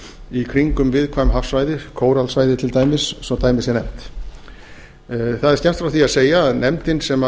í kringum viðkvæm hafsvæði kóralsvæði til dæmis svo dæmi sé nefnt það er skemmst frá því að segja að nefndin sem